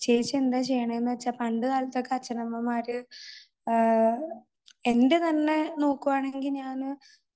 കരച്ചിൽ നിർത്താനായിട്ട് നിർത്താൻ ആയിട്ട് ചേച്ചി എന്താ ചെയ്യുന്നത് വച്ചാൽ പണ്ടുകാലത്ത് അച്ഛനമ്മമാർ എൻറെ തന്നെ നോക്കുകയാണെങ്കിൽ ഞാൻ